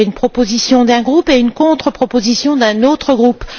Il y avait une proposition d'un groupe et une contre proposition d'un autre groupe.